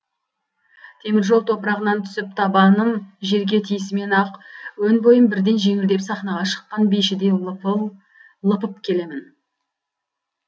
теміржол топырағынан түсіп табаным жерге тиісімен ақ өн бойым бірден жеңілденіп сахнаға шыққан бишідей лыпып келемін